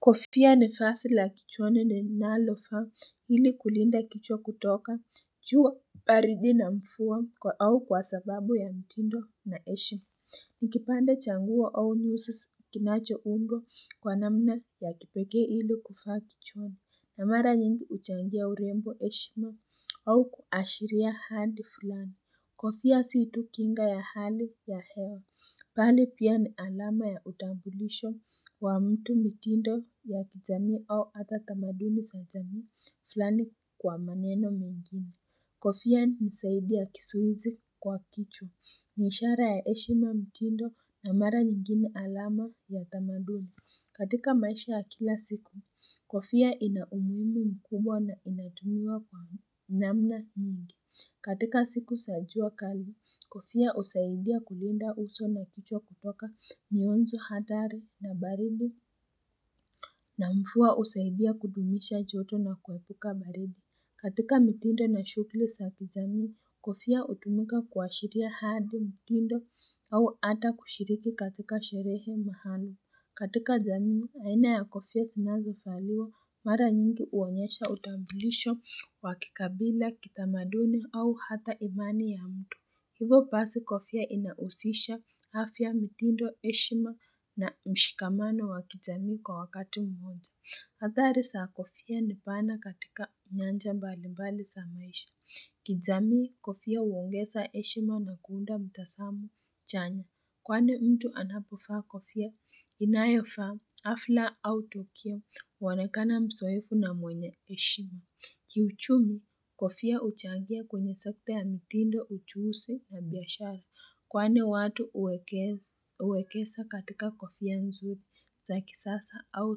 Kofia ni fasi la kichwani linalofa ili kulinda kichwa kutoka juwa paridi na mfuwa au kwa sababu ya mtindo na eshe Nikipande cha nguo au nyusi s kinachoundwa kwa namna ya kipekee ili kuvaa kichwani, na mara nyingi huchangia urembo, heshima au kuashiria ahadi fulani. Kofia si tu kinga ya hali ya hewa bali pia ni alama ya utambulisho wa mtu, mitindo ya kijamii au hata tamaduni za jamii flani kwa maneno mengine. Kofia ni zaidi ya kizuizi kwa kichwa. Ni ishara ya heshima, mtindo, na mara nyingine alama ya tamaduni. Katika maisha ya kila siku, kofia ina umuhimu mkubwa na inatumiwa kwa namna nyingi. Katika siku za jua kali, kofia husaidia kulinda uso na kichwa, kutoka mionzo hatari na baridi, na mvua husaidia kudumisha joto na kuepuka baridi. Katika mitindo na shughli za kijamii, kofia hutumika kuashiria hadi mitindo, au hata kushiriki katika sherehe mahali. Katika jamii, aina ya kofia zinazovaliwa, mara nyingi huonyesha utambulisho wa kikabila, kitamaduni au hata imani ya mtu. Hivo basi kofia inahusisha afya, mitindo, heshima na mshikamano wa kijamii kwa wakati mmoja. Hadhari za kofia ni pana katika nyanja mbali mbali za maisha. Kijamii, kofia huongeza heshima na kuunda mtazamo chanya. Kwani mtu anapovaa kofia, inayofaa hafla au tukio, huonekana mzoeefu na mwenye heshima. Kiuchumi, kofia huchangia kwenye sekta ya mitindo, ujuzi na biashara. Kwani watu huwekeza katika kofia nzuri, za kisasa au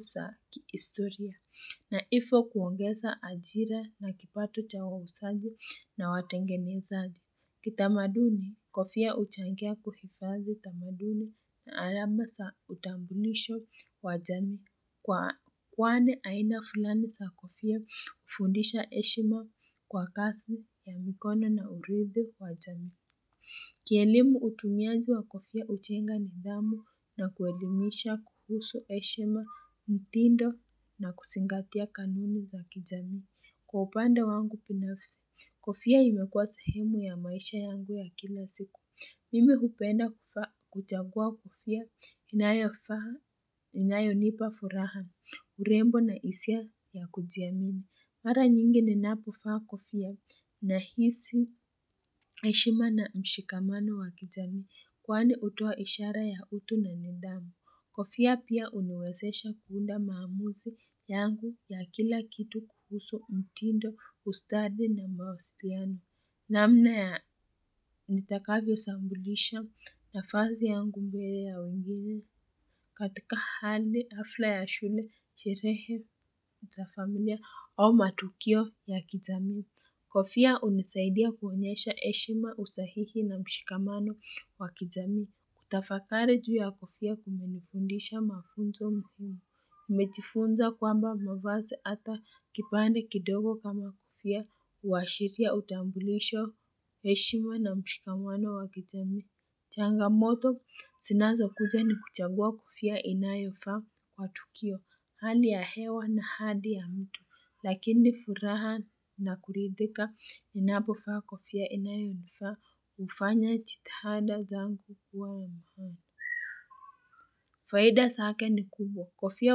zakihistoria. Na hivyo kuongeza ajira, na kipato cha wauzaji na watengenezaji. Kitamaduni, kofia huchangia kuhifadhi tamaduni, na alama za utambulisho wa jamii, kwa kwani aina fulani za kofia hufundisha heshima kwa kazi ya mikono, na uridhi wa jamii. Kielimu, utumiaji wa kofia hujenga nidhamu, na kuelimisha kuhusu heshima, mtindo na kuzingatia kanuni za kijamii. Kwa upande wangu binafsi, kofia imekuwa sehemu ya maisha yangu ya kila siku. Mimi hupenda kuvaa, kuchagua kofia, inayofaa, inayonipa furaha, urembo na hisia ya kujiamini. Mara nyingi ninapovaa kofia, nahisi heshima na mshikamano wa kijamii, kwani hutoa ishara ya utu na nindhamu. Kofia pia huniwezesha kuunda maamuzi yangu ya kila kitu, kuhusu mtindo, ustadi na mawasiliano. Namna ya nitakavyo sambulisha nafasi yangu mbele ya wengine, katika hali hafla ya shule, sherehe za familia, au matukio ya kijamii. Kofia hunisaidia kuonyesha heshima, usahihi na mshikamano wa kijamii. Kutafakari juu ya kofia, kumenifundisha mafunzo muhimu. Nmejifunza kwamba mavazi, hata kipande kidogo kama kofia. Huashiria utambulisho, heshima, na mshikamano wa kijamii. Changamoto zinazokuja ni kuchagua kofia inayofaa matukio. Hali ya hewa, na hadi ya mtu, lakini furaha na kuridhika ninapovaa kofia inayonifaa hufanya jitihada zangu kuwa ya mkh. Faida zake ni kubwa, kofia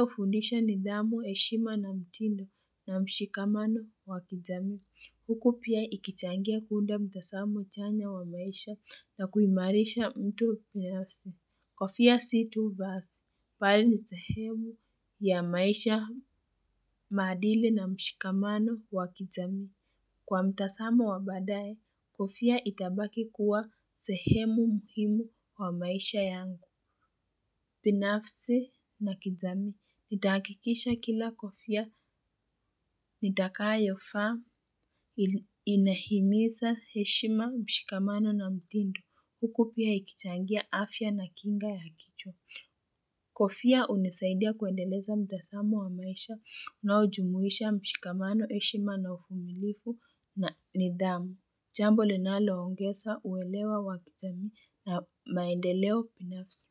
hufundisha nidhamu, heshima, na mtindo na mshikamano wa kijamii. Huku pia ikichangia kuunda mtazamo chanya wa maisha, na kuimarisha mtu binafsi. Kofia si tu vazi, bali ni sehemu ya maisha, maadili na mshikamano wa kijamii. Kwa mtazamo wa baadaye, kofia itabaki kuwa sehemu muhimu kwa maisha yangu. Binafsi na kijamii, nitahakikisha kila kofia, nitakayo vaa, inahimiza heshima, mshikamano, na mtindo, huku pia ikichangia afya na kinga ya kichwa. Kofia hunisaidia kuendeleza mtazamo wa maisha, unaojumuisha mshikamano, heshima na uvumilivu na nidhamu. Jambo linalo ongeza uwelewa wa kijamii na maendeleo binafsi.